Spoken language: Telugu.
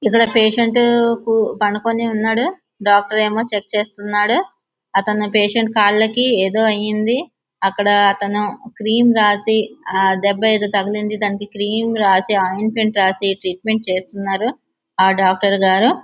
ఇక్కడ పేషెంటు పడుకొని ఉన్నాడు డాక్టర్ ఏమో చెక్ చేస్తున్నాడు అతని పేషెంట్ కాలికి ఏదో అయింది అక్కడ క్రీమ్ రాసి ఏదో దెబ్బ అయితే తగిలింది దానికి క్రీము రాసి ఆయింట్మెంట్ రాసి ట్రీట్మెంట్ చేస్తున్నారు ఆ డాక్టర్ గారు.